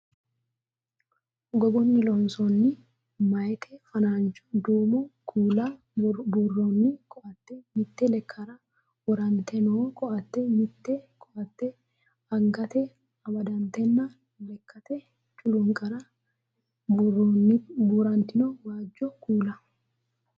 Gogunni loonsoonni meeyate fanancho duumo kuula buurroonni koaatte, mitte lekkara worante noo koaatte, mitte koaatte angatey amaddatenna leekkate culuunqara buurantino waajjo kuula.